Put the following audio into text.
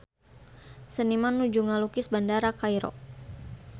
Seniman nuju ngalukis Bandara Kairo